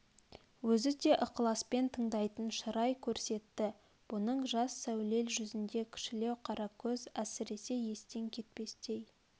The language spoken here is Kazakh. өзі де ықласпен тыңдайтын шырай көрсетті бұның жас сәулел жүзінде кішілеу қара көз әсресе естен кетпестей